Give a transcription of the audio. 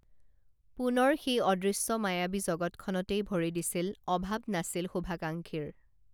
পুণৰ সেই অদৃশ্য মায়াবী জগত খনতেই ভৰি দিছিল অভাৱ নাছিল শুভাকাঙ্খীৰ